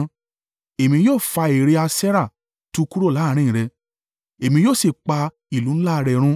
Èmi yóò fa ère Aṣerah tu kúrò láàrín rẹ̀, èmi yóò sì pa ìlú ńlá rẹ̀ run.